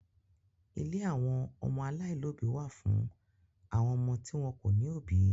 Ilé àwọn ọmọ aláìlóòbí wà fún àwọn ọmọ tí wọn kò ní òbí.